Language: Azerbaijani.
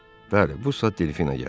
Bəli, bu saat Delfina gəlir.